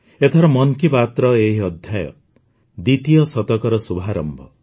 ଏଥର ମନ୍ କି ବାତ୍ର ଏହି ଅଧ୍ୟାୟ ଦ୍ୱିତୀୟ ଶତକର ଶୁଭାରମ୍ଭ